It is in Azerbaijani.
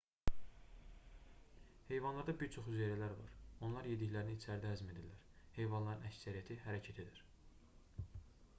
heyvanlarda bir çox hüceyrələr var onlar yediklərini içəridə həzm edirlər heyvanların əksəriyyəti hərəkət edir